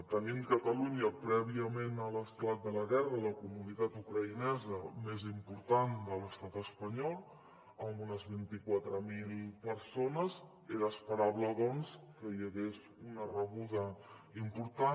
tenint catalunya prèviament a l’esclat de la guerra la comunitat ucraïnesa més important de l’estat espanyol amb unes vint quatre mil persones era esperable doncs que hi hagués una rebuda important